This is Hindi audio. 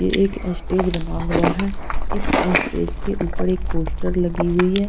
यह एक एस्टेज बना हुआ है इस एस्टेज के ऊपर एक पोस्टर लगी हुई है।